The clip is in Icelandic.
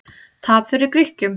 Tap fyrir Grikkjum